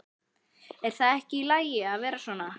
Er það ekki í lagi að vera svona?